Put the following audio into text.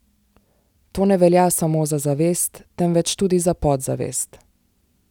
To ne velja samo za zavest, temveč tudi za podzavest.